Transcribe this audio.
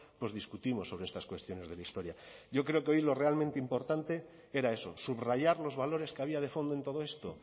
pues discutimos sobre estas cuestiones de la historia yo creo que hoy lo realmente importante era eso subrayar los valores que había de fondo en todo esto